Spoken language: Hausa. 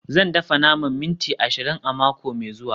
Zan dafa naman minti ashirin a mako mai zuwa